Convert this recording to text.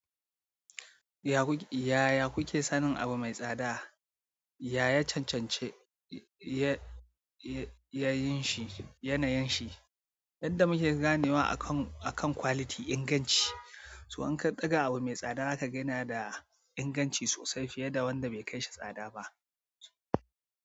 Yaya kuke sanin abu mai tsada? Ya ya ya cancanci yana yin shi yadda muke ganewa akan quality inganci, to in ka ɗaga abu mai tsada zaka gane da inganci sosai fiye da wanda bai kai shi tsada ba.